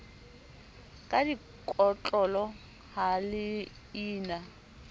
ka dikotlolo ha le ina